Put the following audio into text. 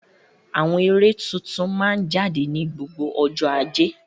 Àwọn eré tuntun máa ń jáde ní gbogbo ọjọ́ Ajé.